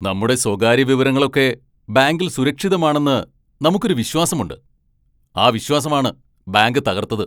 നമ്മുടെ സ്വകാര്യ വിവരങ്ങളൊക്കെ ബാങ്കിൽ സുരക്ഷിതമാണെന്ന് നമുക്കൊരു വിശ്വാസമുണ്ട്, ആ വിശ്വാസമാണ് ബാങ്ക് തകർത്തത്.